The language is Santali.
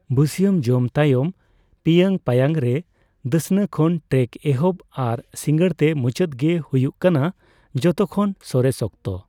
ᱵᱟᱹᱥᱭᱟᱹᱢ ᱡᱚᱢ ᱛᱟᱭᱟᱚᱢ ᱯᱤᱭᱟᱹᱝ ᱯᱟᱭᱟᱝ ᱨᱮ ᱫᱟᱥᱱᱟ ᱠᱷᱚᱱ ᱴᱨᱮᱠ ᱮᱦᱚᱵ ᱟᱨ ᱥᱤᱸᱜᱟᱹᱲ ᱛᱮ ᱢᱩᱪᱟᱹᱫ ᱜᱮ ᱦᱩᱭᱩᱜ ᱠᱟᱱᱟ ᱡᱚᱛᱚᱠᱷᱚᱱ ᱥᱚᱨᱮᱥ ᱚᱠᱛᱚ ᱾